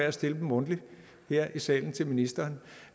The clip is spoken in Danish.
at stille dem mundtligt her i salen til ministeren